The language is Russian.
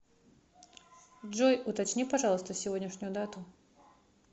джой уточни пожалуйста сегодняшнюю дату